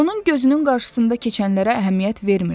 Onun gözünün qarşısında keçənlərə əhəmiyyət vermirdi.